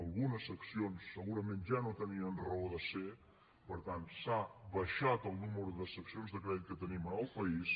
algunes seccions segurament ja no tenien raó de ser per tant s’ha abaixat el nombre de seccions de crèdit que tenim en el país